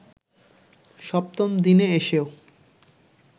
সপ্তম দিনে এসেও